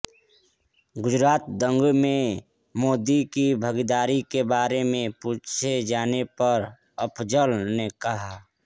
गुजरात दंगों में मोदी की भागीदारी के बारे में पूछे जाने पर अफजल ने कहा